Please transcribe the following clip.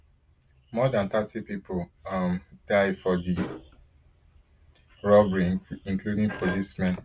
more dan thirty pipo um die for di robbery including policemen